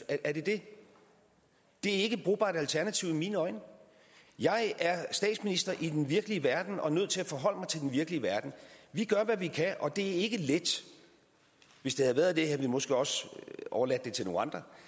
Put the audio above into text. er det det det er ikke et brugbart alternativ i mine øjne jeg er statsminister i den virkelige verden og nødt til at forholde mig til den virkelige verden vi gør hvad vi kan og det er ikke let hvis det havde været det havde vi måske også overladt det til nogle andre